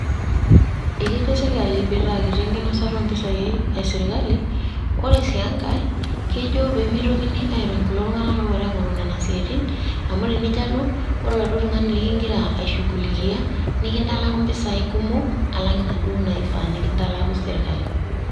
Ekejo sirkali peeitaa kiti enkinasata oo mpesai esirkali ore sii enkae kejo pee meitokini airony kulo tung'anak lopoito aing'oru isiatin amu tinijio alo ore ele tung'anak linkira aishugulikiya nikintalaku impisai kumok alang inaduo naifaa nikintalaku sirkali.